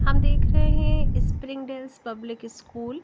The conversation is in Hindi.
हम देख रहे हैं स्प्रिंग डेल्स पब्लिक स्कूल --